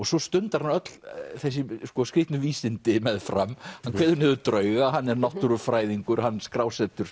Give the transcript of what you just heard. svo stundar hann öll þessi skrýtnu vísindi meðfram hann kveður niður drauga hann er náttúrufræðingur hann